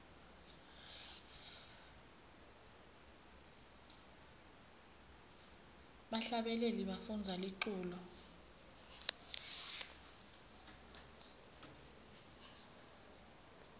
bahlabeleli bafundza liculo